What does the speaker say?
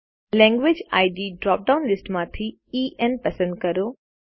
language ID drop down લીસ્ટમાંથી EN પસંદ કરો